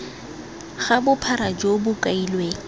ga bophara jo bo kailweng